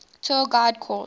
tour guide course